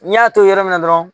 N'i y'a to yɔrɔ min dɔrɔn